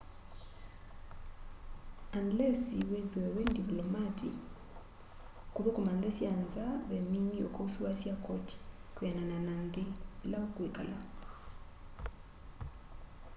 anilesi withwe wi ndivlomati kuthukuma nthi sya nza ve mini ukausuasya koti kwianana na nthi ila ukwikala